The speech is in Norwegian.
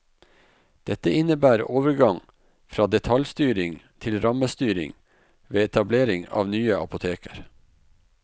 Dette innebærer overgang fra detaljstyring til rammestyring ved etablering av nye apoteker.